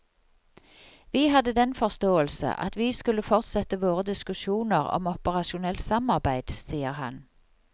Vi hadde den forståelse at vi skulle fortsette våre diskusjoner om operasjonelt samarbeid, sier han.